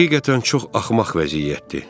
Həqiqətən çox axmaq vəziyyətdir.